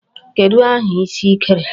Kedụ aha isi ị kere?